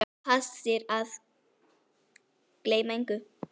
Passir að ég gleymi engu.